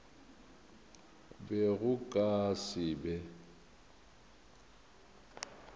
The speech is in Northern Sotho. be go ka se be